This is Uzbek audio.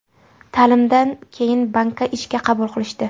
Ta’limdan keyin bankka ishga qabul qilishdi.